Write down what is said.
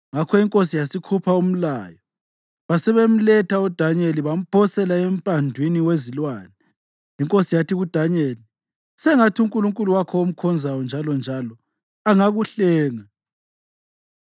Ngakho inkosi yasikhupha umlayo, basebemletha uDanyeli bamphosela emphandwini wezilwane. Inkosi yathi kuDanyeli, “Sengathi uNkulunkulu wakho omkhonzayo njalonjalo angakuhlenga!”